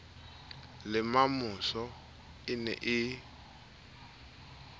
le mamosa e ne e